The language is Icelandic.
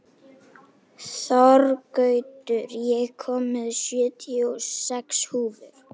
Þorgautur, ég kom með sjötíu og sex húfur!